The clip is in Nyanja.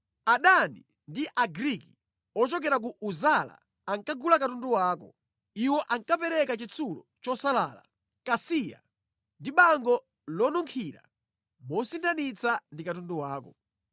Adani ndi Agriki ochokera ku Uzala ankagula katundu wako. Iwo ankapereka chitsulo chosalala, kasiya ndi bango lonunkhira mosinthanitsa ndi katundu wako.